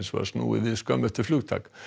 var snúið við skömmu eftir flugtak